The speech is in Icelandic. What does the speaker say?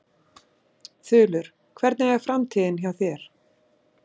Þulur: Hvernig er framtíðin hjá þér?